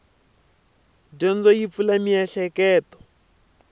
dyondzo yi pfula mieheketo